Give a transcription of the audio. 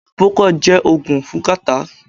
Procold jé ògùn fún catarrh